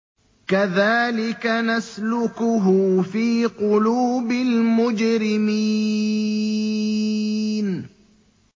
كَذَٰلِكَ نَسْلُكُهُ فِي قُلُوبِ الْمُجْرِمِينَ